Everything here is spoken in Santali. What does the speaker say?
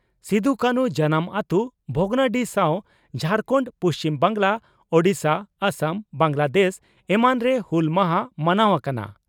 ᱥᱤᱫᱚᱼᱠᱟᱱᱷᱩ ᱡᱟᱱᱟᱢ ᱟᱹᱛᱳ ᱵᱷᱚᱜᱽᱱᱟᱰᱤᱦᱤ ᱥᱟᱣ ᱡᱷᱟᱨᱠᱟᱱᱰ, ᱯᱩᱪᱷᱤᱢ ᱵᱟᱝᱜᱽᱞᱟ, ᱳᱰᱤᱥᱟ, ᱟᱥᱟᱢ, ᱵᱟᱝᱜᱽᱞᱟᱫᱮᱥ ᱮᱢᱟᱱ ᱨᱮ ᱦᱩᱞ ᱢᱟᱦᱟ ᱢᱟᱱᱟᱣ ᱟᱠᱟᱱᱟ ᱾